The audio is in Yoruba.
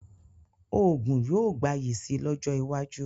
Òògùn yóò gbayì si lọ́jọ́ iwájú